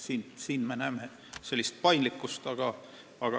Siin me näeme paindlikkust.